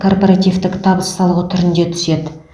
корпоративтік табыс салығы түрінде түседі